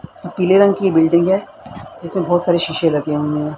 पीले रंग की बिल्डिंग है जिसमें बहोत सारे शीशे लगे हुए--